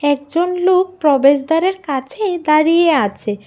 একজন লোক প্রবেশদ্বারের কাছেই দাঁড়িয়ে আছে।